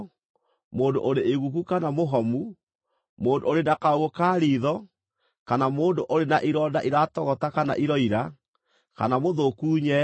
mũndũ ũrĩ iguku kana mũhomu, mũndũ ũrĩ na kaũũgũ ka riitho, kana mũndũ ũrĩ na ironda iratogota kana iroira, kana mũthũku nyee.